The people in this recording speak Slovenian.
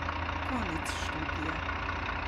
Konec študija.